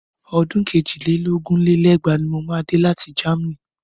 Ọdún èjì lé lógún lé lẹ́gbàá ni mo máa dé láti Germany.